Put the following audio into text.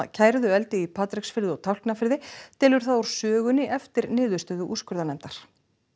kærðu eldi í Patreksfirði og Tálknafirði telur það úr sögunni eftir niðurstöðu úrskurðarnefndar